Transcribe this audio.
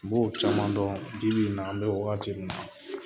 N b'o caman dɔn bi bi in na an bɛ wagati min na